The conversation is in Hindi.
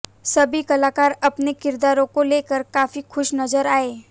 सभी कलाकार अपने किरदारों को लेकर काफी खुश नज़र आये